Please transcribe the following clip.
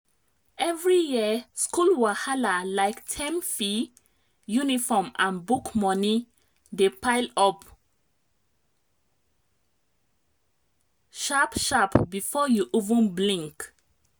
every year school wahala—like term fee uniform and book money—dey pile up sharp-sharp before you even blink.